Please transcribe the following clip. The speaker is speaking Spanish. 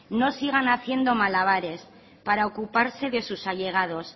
no sigan haciendo malabares para ocuparse de sus allegados